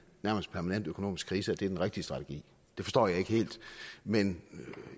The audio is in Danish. nærmest permanent økonomisk krise er den rigtige strategi det forstår jeg ikke helt men